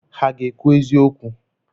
Ha ga-ekwu eziokwu?